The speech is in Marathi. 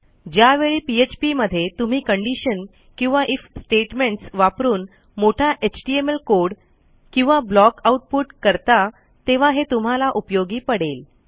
ज्यावेळी पीएचपी मध्ये तुम्ही कंडिशन किंवा आयएफ स्टेटमेंट्स वापरून मोठा एचटीएमएल कोड किंवा ब्लॉक आऊटपुट करता तेव्हा हे तुम्हाला उपयोगी पडेल